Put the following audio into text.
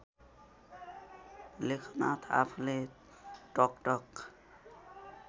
लेखनाथ आफूले टकटक